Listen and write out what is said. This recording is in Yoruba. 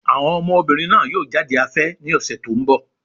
Àwọn ọmọbìnrin náà yóò jáde afẹ́ ní ọ̀sẹ̀ tó ń bọ̀.